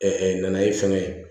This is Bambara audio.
nanaye fɛngɛ ye